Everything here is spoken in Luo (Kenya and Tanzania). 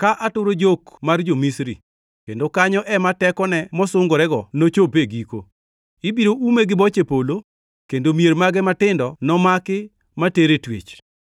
ka aturo jok mar jo-Misri; kendo kanyo ema tekone mosungorego nochop e giko. Ibiro ume gi boche polo, kendo mier mage matindo nomaki ma ter e twech.